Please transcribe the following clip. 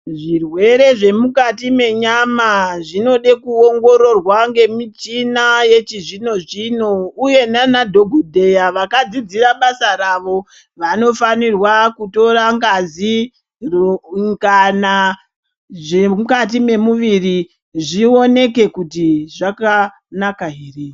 Zvirwere zvemukati menyama zvinode kuongororwa ngemichina yechizvino-zvino uye naanadhokodheya vakadzidzira basa ravo. Vanofanirwa kutora ngazi zviroo u kana zvomukati mwomuviri zvioneke kuti zvakanaka ere.